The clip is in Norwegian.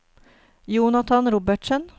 Jonathan Robertsen